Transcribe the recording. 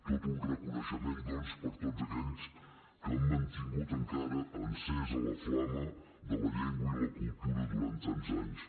tot un reconeixement doncs per a tots aquells que han mantingut encara encesa la flama de la llengua i la cultura durant tants anys